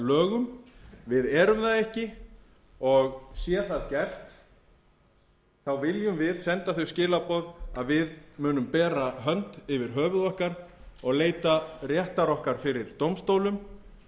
hryðjuverkalögum við erum það ekki og sé það gert viljum við senda þau skilaboð að við munum bera hönd fyrir höfuð okkar og leita réttar okkar fyrir dómstólum